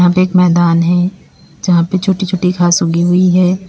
एक मैदान है जहाँ पे छोटी छोटी घास उगी हुई है।